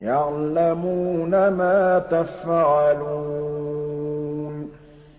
يَعْلَمُونَ مَا تَفْعَلُونَ